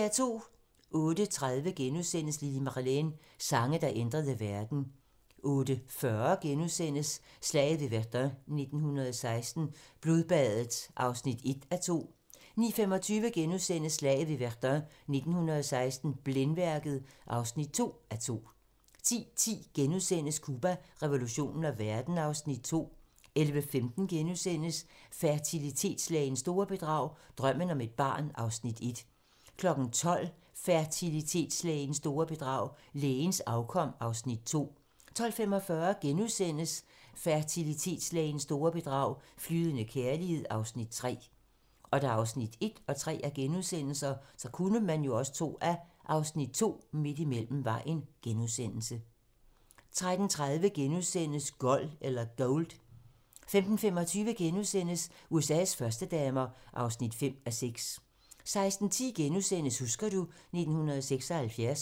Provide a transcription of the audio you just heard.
08:30: Lili Marleen - Sange, der ændrede verden * 08:40: Slaget ved Verdun 1916 - Blodbadet (1:2)* 09:25: Slaget ved Verdun 1916 - Blændværket (2:2)* 10:10: Cuba, revolutionen og verden (Afs. 2)* 11:15: Fertilitetslægens store bedrag - Drømmen om et barn (Afs. 1)* 12:00: Fertilitetslægens store bedrag - Lægens afkom (Afs. 2) 12:45: Fertilitetslægens store bedrag - Flydende kærlighed (Afs. 3)* 13:30: Gold * 15:25: USA's førstedamer (5:6)* 16:10: Husker du ... 1976 *